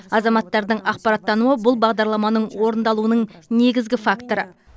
азаматтардың ақпараттануы бұл бағдарламаның орындалуының негізгі факторы